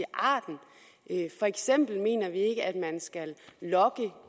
arten for eksempel mener vi ikke at man skal logge